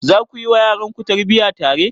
Za ku yi wa yaranku tarbiyya tare?